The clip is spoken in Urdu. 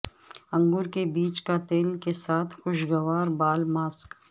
انگور کے بیج کا تیل کے ساتھ خوشگوار بال ماسک